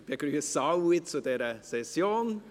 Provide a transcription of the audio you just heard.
Ich begrüsse alle zu dieser Session.